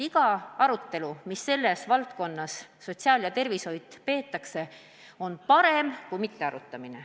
Iga arutelu, mis sotsiaal- ja tervishoiu valdkonnas peetakse, on parem kui mittearutamine.